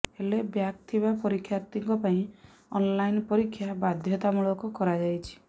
ହେଲେ ବ୍ୟାକ୍ ଥିବା ପରୀକ୍ଷାର୍ଥୀଙ୍କ ପାଇଁ ଅନ୍ଲାଇନ୍ ପରୀକ୍ଷା ବାଧ୍ୟତାମୂଳକ କରାଯାଇଛି